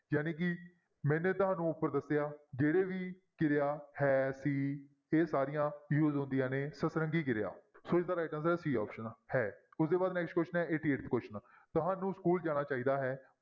ਜਾਣੀ ਕਿ ਮੈਨੇ ਤੁਹਾਨੂੰ ਉੱਪਰ ਦੱਸਿਆ ਜਿਹੜੇ ਵੀ ਕਿਰਿਆ ਹੈ ਸੀ ਇਹ ਸਾਰੀਆਂ use ਹੁੰਦੀਆਂ ਹਨ ਸਤਰੰਗੀ ਕਿਰਿਆ ਸੋ ਇਸਦਾ right answer c option ਹੈ ਉਹ ਤੋਂ next question ਹੈ eighty-eighth question ਤੁਹਾਨੂੰ school ਜਾਣਾ ਚਾਹੀਦਾ ਹੈ